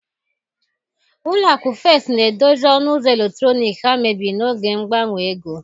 Ụlọ akụ First na-edozi ọnụ ụzọ eletrọnịkị ha mebiri n'oge mgbanwe ego